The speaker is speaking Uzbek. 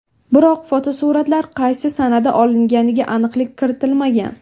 Biroq fotosuratlar qaysi sanada olinganiga aniqlik kiritilmagan.